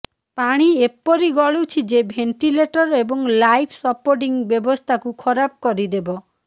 ପାଣି ଏପରି ଗଳୁଛି ଯେ ଭେଣ୍ଟିଲେଟର ଏବଂ ଲାଇଫ୍ ସପୋର୍ଟିଂ ବ୍ୟବସ୍ଥାକୁ ଖରାପ କରିଦେବ